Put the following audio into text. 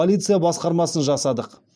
полиция басқармасын жасадық